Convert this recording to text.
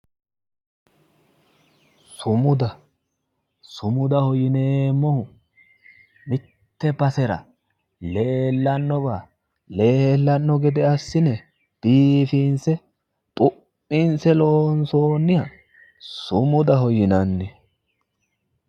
Sumuda, sumudaho yineemmohu mitte basera leellannowa leellanno gede assi'ne biifinse xu'minse loonsoonniha sumudaho yinanni